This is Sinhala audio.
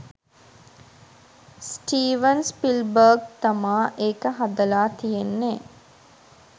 ස්ටීවන් ස්පිල්බර්ග් තමා ඒක හදලා තියෙන්නෙ.